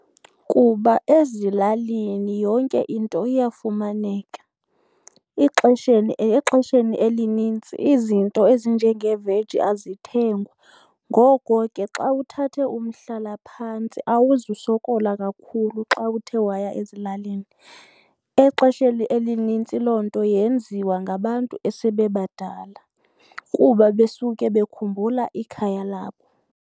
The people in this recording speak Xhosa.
Kuba ezilalini yonke into iyafumaneka. Ixesheni, exesheni elinintsi izinto ezinjenge veji azithengwa. Ngoko ke xa uthathe umhlalaphantsi awuzusokola kakhulu xa uthe waya ezilalini. Exesheni elinintsi loo nto yenziwa ngabantu asebebadala kuba besuke bekhumbula ikhaya labo.